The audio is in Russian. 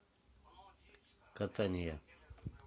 катания